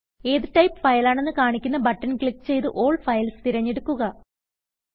ഏത് type file ആണെന്ന് കാണിക്കുന്ന ബട്ടൺ ക്ലിക്ക് ചെയ്ത് ആൽ ഫൈൽസ് തിരഞ്ഞെടുക്കുക